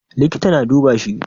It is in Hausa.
Likita na duba shi.